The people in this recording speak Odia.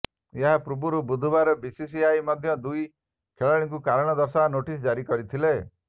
ଏହାପୂର୍ବରୁ ବୁଧବାର ବିସିସିଆଇ ମଧ୍ୟ ଦୁଇ ଖେଳାଳିଙ୍କୁ କାରଣ ଦର୍ଶାଅ ନୋଟିସ ଜାରି କରିଥିଲେ